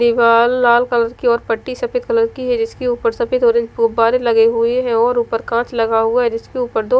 दीवाल लाल कलर की और पट्टी सफ़ेद कलर की है जिसके ऊपर सफ़ेद ऑरेंज गुब्बारे लगे हैं और ऊपर कांच लगा हुआ है जिसके ऊपर दो --